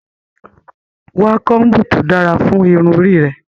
Wa kombu to dara fun irun ori rẹ!